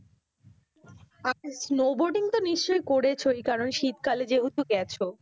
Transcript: আচ্ছা snow boating তো নিশ্চই করেছো, এই কারণে শীতকালে যেহেতু গেছো